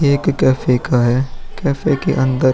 एक कैफै का है। कैफै के अंदर --